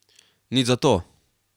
Nič zato.